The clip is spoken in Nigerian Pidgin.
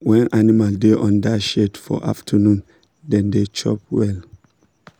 when animal da under shade for afternoon dem da chop well